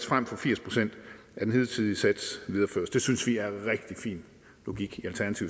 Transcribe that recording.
frem for firs procent af den hidtidige sats videreføres det synes i er rigtig fin logik